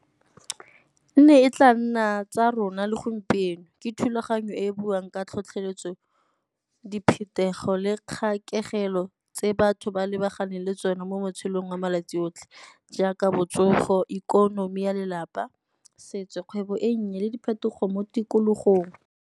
E ne e tla nna tsa rona le gompieno, ke thulaganyo e e buang ka tlhotlheletso, diphetogo le kgakologo pelo tse batho ba lebaganeng le tsone mo matshelong a malatsi otlhe jaaka botsogo, ikonomi ya lelapa setso, kgwebo e nnye le diphetogo mo tikologong.